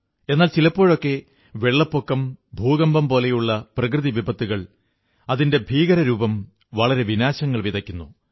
എന്നാൽ ചിലപ്പോഴൊക്കെ വെള്ളപ്പൊക്കം ഭൂകമ്പം പോലെയുള്ള പ്രകൃതിവിപത്തുകൾ അതിന്റെ ഭീകരരൂപം വളരെ വിനാശങ്ങൾ വിതയ്ക്കുന്നു